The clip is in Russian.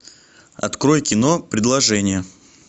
открой кино предложение